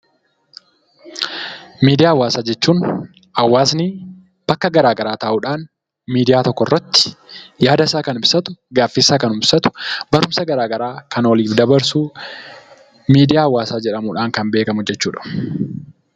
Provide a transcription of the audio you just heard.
Miidiyaa hawaasaa jechuun hawaasni bakka garagaraa ta'uudhaan miidiyaa tokkorratti yaada isaa kan ibsatu, gaaffiisaa kan ibsatu, barumsa garagaraa kan waliif dabarsu miidiyaa hawaasaa jedhamuudhaan kan beekkamu jechuudha.